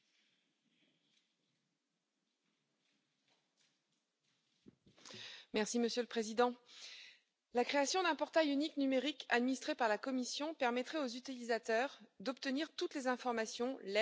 Monsieur le Président, la création d'un portail unique numérique administré par la Commission permettrait aux utilisateurs d'obtenir toutes les informations, l'aide et les services dont ils ont besoin pour exercer leurs activités efficacement au delà des frontières.